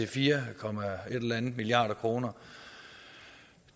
fire komma et eller andet milliarder kroner